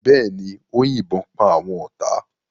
Bẹ́ẹ̀ ni, ó yìnbọn pa àwọn ọ̀tá.